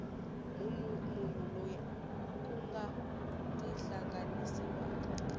munhu loyi ku nga tihlanganisiwaka